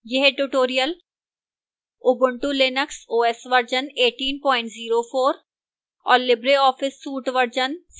यह tutorial ubuntu linux os version 1804 और